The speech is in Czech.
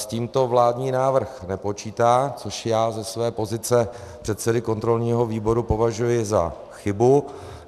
S tímto vládní návrh nepočítá, což já ze své pozice předsedy kontrolního výboru považuji za chybu.